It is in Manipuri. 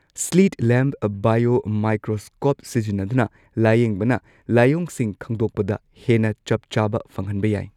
ꯁ꯭ꯂꯤꯠ ꯂꯦꯝꯞ ꯕꯥꯏꯑꯣꯃꯥꯏꯀ꯭ꯔꯣꯁ꯭ꯀꯣꯞ ꯁꯤꯖꯤꯟꯅꯗꯨꯅ ꯂꯥꯏꯌꯦꯡꯕꯅ ꯂꯥꯏꯑꯣꯡꯁꯤꯡ ꯈꯪꯗꯣꯛꯄꯗ ꯍꯦꯟꯅ ꯆꯞ ꯆꯥꯕ ꯐꯪꯍꯟꯕ ꯌꯥꯏ꯫